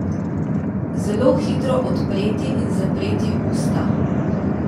Zelo hitro odpreti in zapreti usta.